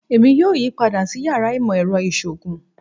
Èmi yóò yí padà sí yàrá ìmọ̀ ẹrọ ìṣòògùn